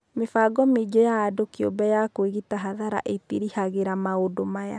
Mĩbango mĩingĩ ya andũ kĩũmbe ya kwĩgita hathara ĩtĩrĩhagĩra maũndu aya.